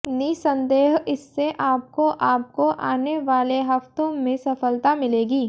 निसंदेह इससे आपको आपको आने वाले हफ़्तों में सफलता मिलेगी